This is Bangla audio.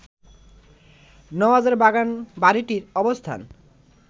নওয়াজের বাগানবাড়িটির অবস্থান